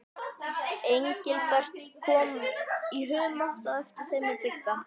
Engilbert kom í humátt á eftir þeim með Bigga.